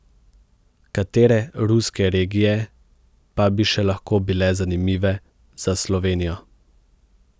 Katere ruske regije pa bi še lahko bile zanimive za Slovenijo?